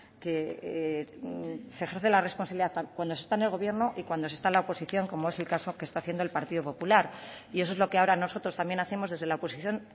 que se ejerce la responsabilidad cuando se está en el gobierno y cuando se está en la oposición como es el caso que está haciendo el partido popular y eso es lo que ahora nosotros también hacemos desde la oposición